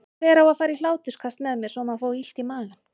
Hver á að fara í hláturskast með mér svo maður fái illt í magann?